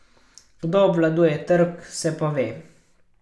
Kdo obvladuje trg, se pa ve.